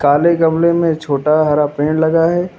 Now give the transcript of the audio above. काले गमले में छोटा हरा पेड़ लगा है।